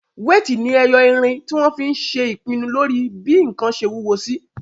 Wéètì ni ẹyọ irin tí wọ́n fí n ṣe ìpinnu lórí bí ǹkan ṣe wúwo sí